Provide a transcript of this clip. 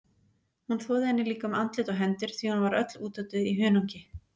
Hún þvoði henni líka um andlit og hendur því hún var öll útötuð í hunangi.